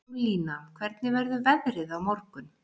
Júlína, hvernig verður veðrið á morgun?